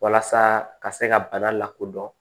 Walasa ka se ka bana lakodɔn